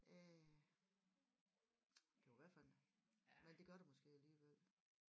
Øh det var i hvert fald men det gør der måske alligevel